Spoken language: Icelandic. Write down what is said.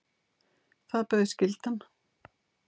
Það bauð skyldan.